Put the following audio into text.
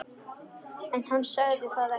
En hann sagði það ekki.